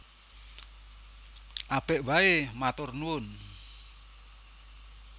Apik waé matur nuwun